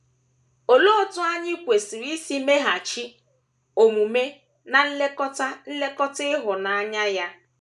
Olee otú anyị kwesịrị isi meghachi omume ná nlekọta nlekọta ịhụnanya ya?